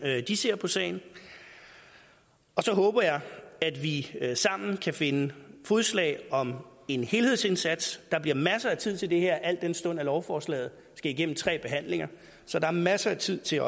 de ser på sagen så håber jeg at vi sammen kan finde fodslag om en helhedsindsats der bliver masser af tid til det her al den stund lovforslaget skal igennem tre behandlinger så der er masser af tid til